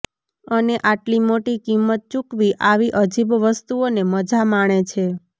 અને આટલી મોટી કિંમત ચૂકવી આવી અજીબ વસ્તુઓને મજા માણે છે